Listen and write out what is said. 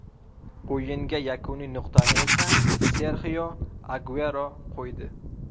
O‘yinga yakuniy nuqtani esa Serxio Aguero qo‘ydi.